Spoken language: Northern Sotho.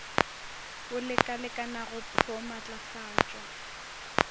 bo lekalekanago pr o maatlafatšwa